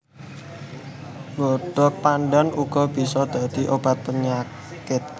Godhong pandhan uga bisa dadi obat penyakit